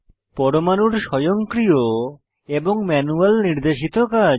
পরমাণুর স্বয়ংক্রিয় এবং ম্যানুয়াল নির্দেশিত কাজ